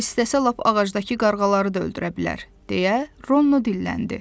O istəsə lap ağacdakı qarğaları da öldürə bilər, deyə Ronno dilləndi.